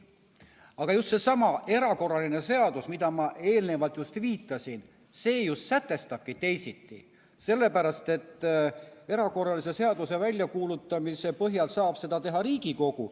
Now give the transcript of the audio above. Aga just seesama erakorralise seadus, millele ma eelnevalt viitasin, sätestabki teisiti, sellepärast et erakorralise seaduse põhjal saab seda välja kuulutada Riigikogu.